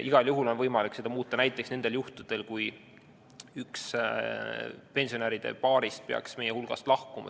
Igal juhul on võimalik seda muuta näiteks nendel juhtudel, kui üks pensionäride paarist peaks meie hulgast lahkuma.